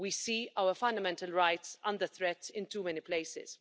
We see our fundamental rights under threat in too many places.